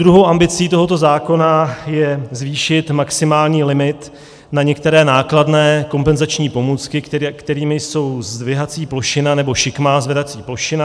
Druhou ambicí tohoto zákona je zvýšit maximální limit na některé nákladné kompenzační pomůcky, kterými jsou zdvihací plošina nebo šikmá zvedací plošina.